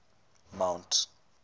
mount